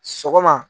Sɔgɔma